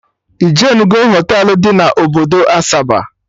Ijenugo Họtelụ dị na obodo Asaba?